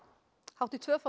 hátt í tvöfalt